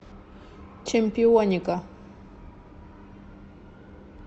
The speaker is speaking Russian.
чемпионика